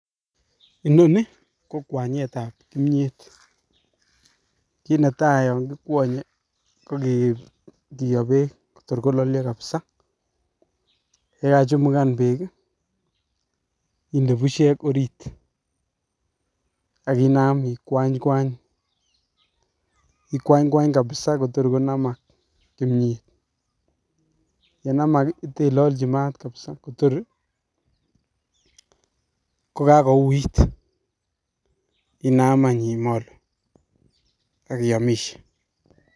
Inoni kokwanyetab kimyet kinetai yon kikwonye kokiyo beek torkololyo kabisa yekachumukan beek inde bushek ak inam ikwanykwany kabisa kotor konamak kimyet yenamak ii iteilolchi maat kabisa tor kokakouit inam any imolu ak iyomishe.